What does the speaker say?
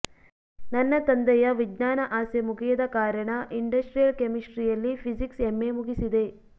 ನನ್ನ ತಂದೆಯ ವಿಜ್ಞಾನ ಆಸೆ ಮುಗಿಯದ ಕಾರಣ ಇಂಡಸ್ಟ್ರಿಯಲ್ ಕೆಮೆಸ್ಟ್ರಿಯಲ್ಲಿ ಫಿಝಿಕ್ಸ್ ಎಂಎ ಮುಗಿಸಿದೆ